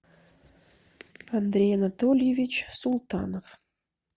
андрей анатольевич султанов